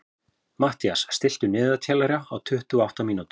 Mathías, stilltu niðurteljara á tuttugu og átta mínútur.